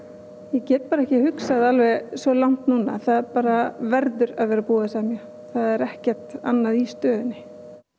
ég get bara ekki hugsað svo langt núna það bara verður að vera búið að semja það er ekkert annað í stöðunni